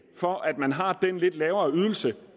for at man har den lidt lavere ydelse